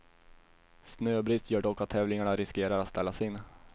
Snöbrist gör dock att tävlingarna riskerar att ställas in.